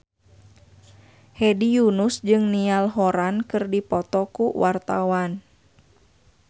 Hedi Yunus jeung Niall Horran keur dipoto ku wartawan